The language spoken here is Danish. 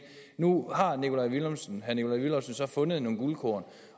nu herre nikolaj villumsen så fundet nogle guldkorn